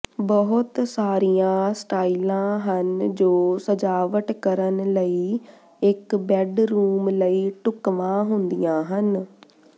ਬਹੁਤ ਸਾਰੀਆਂ ਸਟਾਈਲਾਂ ਹਨ ਜੋ ਸਜਾਵਟ ਕਰਨ ਲਈ ਇਕ ਬੈੱਡਰੂਮ ਲਈ ਢੁਕਵਾਂ ਹੁੰਦੀਆਂ ਹਨ